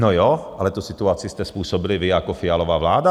No jo, ale tu situaci jste způsobili vy jako Fialova vláda.